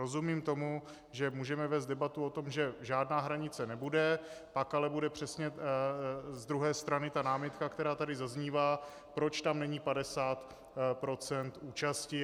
Rozumím tomu, že můžeme vést debatu o tom, že žádná hranice nebude, pak ale bude přesně z druhé strany ta námitka, která tady zaznívá, proč tam není 50 % účasti.